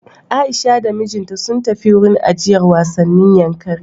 Aisha da mijinta sun tafi wurin ajiyar wasannin Yankari.